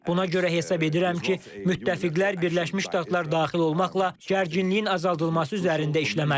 Buna görə hesab edirəm ki, müttəfiqlər Birləşmiş Ştatlar daxil olmaqla gərginliyin azaldılması üzərində işləməlidir.